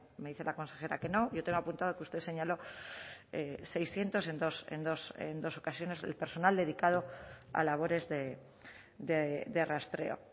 me dice la consejera que no yo tengo apuntado que usted señaló seiscientos en dos ocasiones el personal dedicado a labores de rastreo